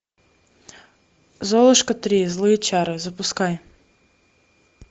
золушка три злые чары запускай